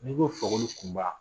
N'i ko fakoli kunba